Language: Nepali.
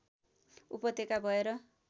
उपत्यका भएर